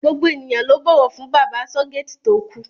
Gbogbo ènìyàn ló bọ̀wọ̀ fún bàbá asọ́-géètì tó kú.